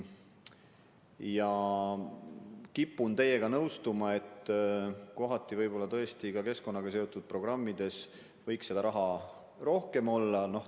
Ma kipun teiega nõustuma, et tõesti ka keskkonnaga seotud programmide jaoks võiks raha rohkem olla.